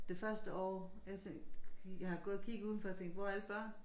Det første år jeg tænkte jeg har gået og kigget uden for og tænkte hvor er alle børnene